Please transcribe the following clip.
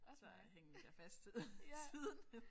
Og så hængte jeg fast siden